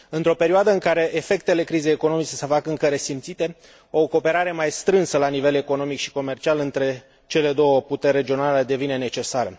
Într o perioadă în care efectele crizei economice se fac încă resimțite, o cooperare mai strânsă la nivel economic și comercial între cele două puteri regionale devine necesară.